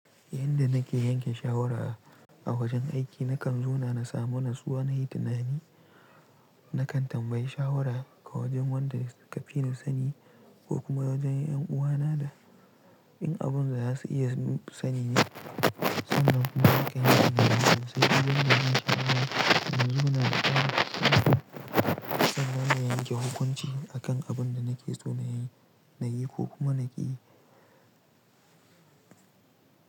Inda nake yanke shawara a wajen aiki, nakan zauna samu natsuwa nayi tunani. Nakan tambayi shawara ga wajen wanda kafina sani ko kuma wajen ’yan uwana da in abun za su iya sani ne, sannan kuma kaine da ni. Sai idan na yi shawara, ni kuma na taɓa sanar da yanke hukunci akan abun da nake so na yi ko kuma na ƙi.